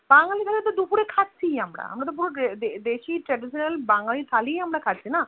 বাঙালি থালি তো দুপুর খাচ্ছি আমরা বাঙালি খাবার আমরা আমরা তো দেশি Traditional বাঙালি থালি এ তো খাচ্ছি আমরা না